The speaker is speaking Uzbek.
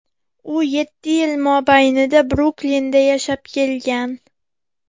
U yetti yil mobaynida Bruklinda yashab kelgan.